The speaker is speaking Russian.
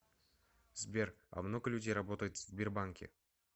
сбер а много людей работает в сбербанке